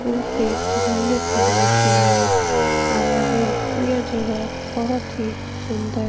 यहाँ पे घूमने-फिरने के लिए आया है यह जगह बहुत ही सुन्दर --